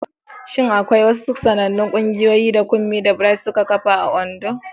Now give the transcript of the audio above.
Shin akwai wasu sanannun ƙungiyoyi da Kunmi da Bright suka kafa a Ondo?